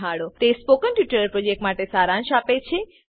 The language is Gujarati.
તે સ્પોકન ટ્યુટોરીયલ પ્રોજેક્ટનો સારાંશ આપે છે